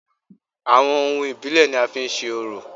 Àwọn ohun ìbílẹ̀ ni a fi ń se orò